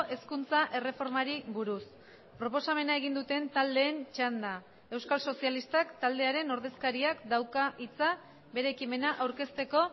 hezkuntza erreformari buruz proposamena egin duten taldeen txanda euskal sozialistak taldearen ordezkariak dauka hitza bere ekimena aurkezteko